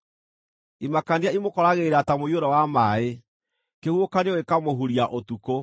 Imakania imũkoragĩrĩra ta mũiyũro wa maaĩ; kĩhuhũkanio gĩkaamũhuria ũtukũ.